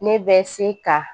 Ne bɛ se ka